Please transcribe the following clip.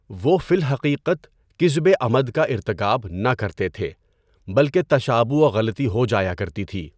وہ فی الحقیقت کِذبِ عَمَد کا ارتکاب نہ کرتے تھے بلکہ تشابُہ وغلطی ہو جایا کرتی تھی۔